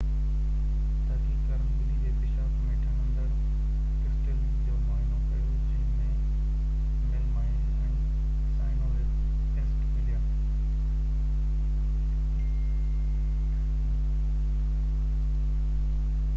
تحقيق ڪارن ٻلي جي پيشاب ۾ ٺهندڙ ڪرسٽرلز جو معائنو ڪيو جنهن ۾ ميلامائن ۽ سائنورڪ ايسڊ مليا